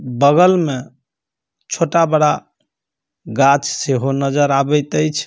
बगल में छोटा-बड़ा गाछ से हो नज़र आवीतै छे।